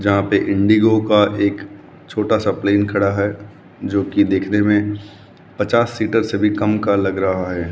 जहां पर इंडिगो का एक छोटा सा प्लेन खड़ा है जो की देखने में पचास सीटर से भी काम का लग रहा है।